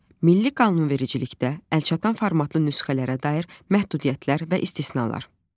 Milli qanunvericilikdə əlçatan formatlı nüsxələrə dair məhdudiyyətlər və istisnalar.